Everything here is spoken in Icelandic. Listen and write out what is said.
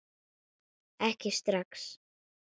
Ekki strax!